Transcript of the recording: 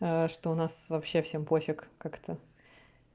что у нас вообще всем пофиг как-то